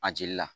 A jeli la